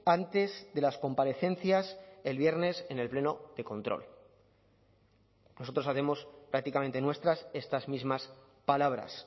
antes de las comparecencias el viernes en el pleno de control nosotros hacemos prácticamente nuestras estas mismas palabras